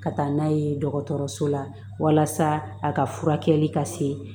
Ka taa n'a ye dɔgɔtɔrɔso la walasa a ka furakɛli ka se